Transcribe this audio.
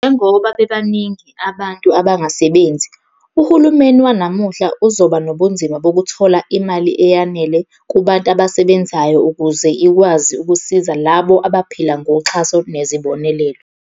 Njengoba bebaningi abantu abangasebenzi, uhulumela wanamuhla uzoba nobunzima bokuthola imali eyanele kubantu abasebenzayo ukuze ikwazi ukusiza labo abaphila ngoxhaso nezibonelelo.